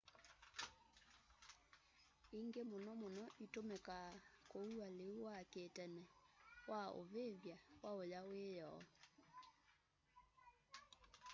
hangi mũno mũno ĩtũmĩkaa kũua lĩu wa kĩtene wa ũvĩvy'a waũya wĩyoo